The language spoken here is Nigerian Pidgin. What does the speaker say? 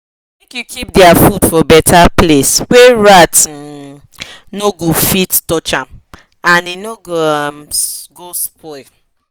make u keep their food for better place wa rat um no go fit touch am and e no um go spoil